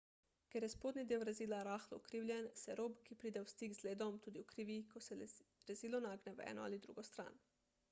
ker je spodnji del rezila rahlo ukrivljen se rob ki pride v stik z ledom tudi ukrivi ko se rezilo nagne v eno ali drugo stran